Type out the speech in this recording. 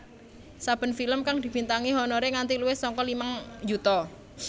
Saben film kang dibintangi honoré nganti luwih saka limang yuta